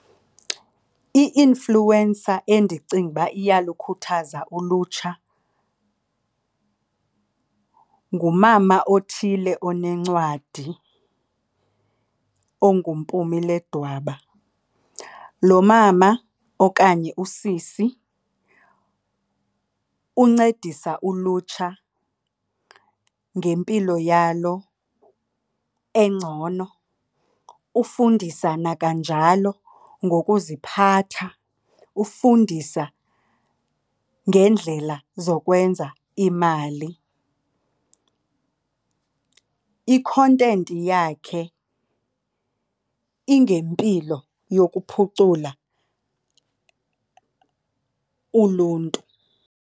I-influencer endicinga uba iyalukhuthaza ulutsha, ngumama othile onencwadi onguMpumi Ledwaba. Lo mama okanye usisi uncedisa ulutsha ngempilo yalo engcono, ufundisa nakanjalo ngokuziphatha, ufundisa ngeendlela zokwenza imali. I-content yakhe ingempilo yokuphucula uluntu.